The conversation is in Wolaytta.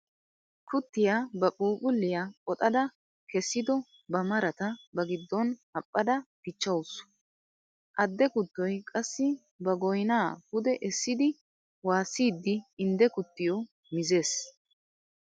Kuttiya ba phuuphphuliya qoxxada kessiddo ba maratta ba gidon haphadda dichawusu. Adde kuttoy qassi ba goynna pude essiddi waassidde indde kuttiyo mizzees.